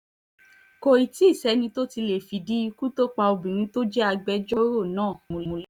kò tí ì sẹ́ni tó tí ì lè fìdí ikú tó pa obìnrin tó jẹ́ agbẹjọ́rò náà múlẹ̀